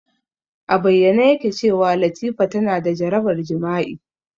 A bayyane yake cewa Latifa tana da jarabar jima'i.